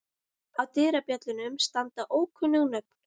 Á dyrabjöllunum standa ókunnug nöfn.